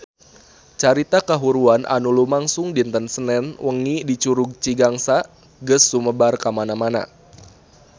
Carita kahuruan anu lumangsung dinten Senen wengi di Curug Cigangsa geus sumebar kamana-mana